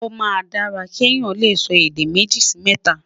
o má n dára ké Yàn lẹsọ èdè méjì Si mẹta